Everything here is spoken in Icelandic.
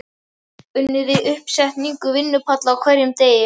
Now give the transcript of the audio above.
Unnið við uppsetningu vinnupalla á hverjum degi.